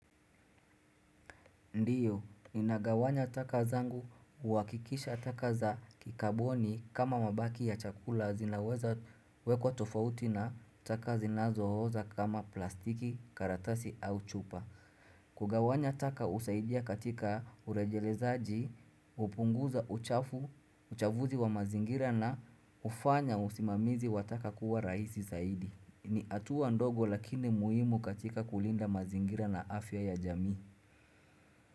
Ndiyo, ninagawanya taka zangu, kuhakikisha taka za kikaboni kama mabaki ya chakula zinaweza wekwa tofauti na taka zinazo oza kama plastiki, karatasi au chupa. Kugawanya taka husaidia katika urejelezaji, hupunguza uchafu, uchafuzi wa mazingira na hufanya usimamizi wa taka kuwa rahisi zaidi. Ni hatua ndogo lakini muhimu katika kulinda mazingira na afya ya jamii.